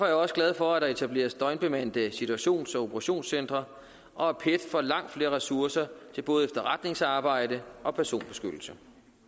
jeg også glad for at der etableres døgnbemandede situations og operationscentre og at pet får langt flere ressourcer til både efterretningsarbejde og personbeskyttelse